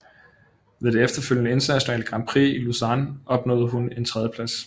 Ved det efterfølgende internationale grand prix i Lausanne opnåede hun en tredjeplads